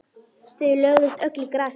Þau lögðust öll í grasið.